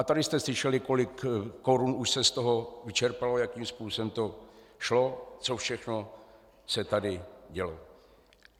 A tady jste slyšeli, kolik korun už se z toho vyčerpalo, jakým způsobem to šlo, co všechno se tady dělo.